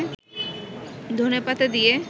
ধনেপাতা দিয়ে